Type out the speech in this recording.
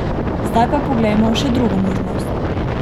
Zdaj pa poglejmo še drugo možnost.